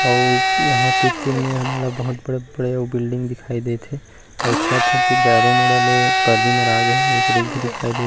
अउ ए यहाँ तीर-तीर में हमला बहुत बड़े बड़े बिल्डिंग दिखाई देत हे अउ ए छत ह एति चारो मुड़ा ले पर्दी मरा गए हे एक रुख भी दिखाई देत हे।